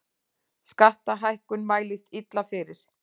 Skattahækkun mælist illa fyrir